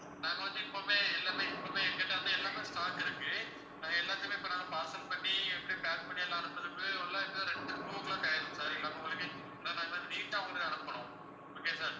நாங்க வந்து இப்பவுமே எல்லாமே இப்பவுமே எங்ககிட்ட வந்து எல்லாமே stock இருக்கு அது எல்லாத்தையுமே இப்ப நாங்க parcel பண்ணி எப்படி pack பண்ணி எல்லாம் அனுப்புறதுக்கு ரெண்டு two clock ஆயிரும் sir எல்லாமே உங்களுக்கு ஏனா நாங்க வந்து neat ஆ உங்களுக்கு அனுப்பணும் okay யா sir